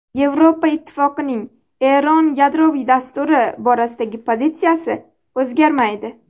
Yevropa Ittifoqining Eron yadroviy dasturi borasidagi pozitsiyasi o‘zgarmaydi.